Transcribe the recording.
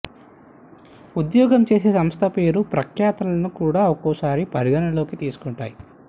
ఉద్యోగం చేసే సంస్థ పేరు ప్రఖ్యాతలను కూడా ఒక్కోసారి పరిగణనలోకి తీసుకుంటాయి